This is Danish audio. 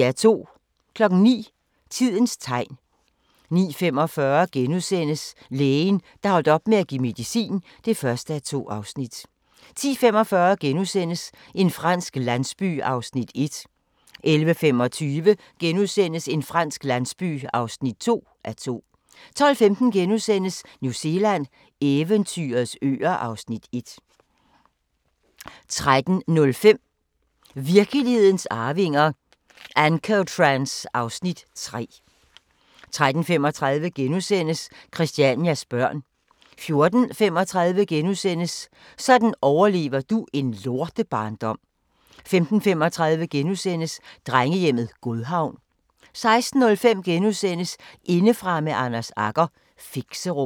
09:00: Tidens tegn 09:45: Lægen, der holdt op med at give medicin (1:2)* 10:45: En fransk landsby (1:2)* 11:25: En fransk landsby (2:2)* 12:15: New Zealand – eventyrets øer (Afs. 1)* 13:05: Virkelighedens arvinger: Ancotrans (Afs. 3) 13:35: Christianias børn * 14:35: Sådan overlever du en lortebarndom * 15:35: Drengehjemmet Godhavn * 16:05: Indefra med Anders Agger - Fixerum *